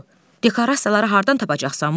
Şaqqulu, dekorasiyaları hardan tapacaqsan?